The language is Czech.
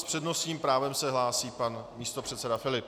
S přednostním právem se hlásí pan místopředseda Filip.